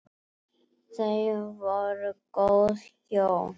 Þau voru góð hjón.